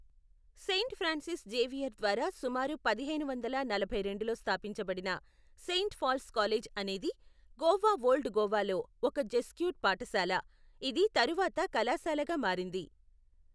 Saint Francis Xavier ద్వారా సుమారు పదిహేను వందల నలభై రెండులో స్థాపించబడిన సెయింట్ పాల్స్ కాలేజ్ అనేది గోవా ఓల్డ్ గోవాలో ఒక జెస్యూట్ పాఠశాల, ఇది తరువాత కళాశాలగా మారింది.